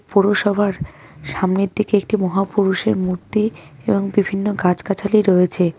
পৌরসভার সামনের দিকে একটি মহাপুরুষের মূর্তি এবং বিভিন্ন গাছগাছালি রয়েছে.